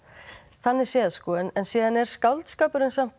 þannig séð en síðan er skáldskapurinn samt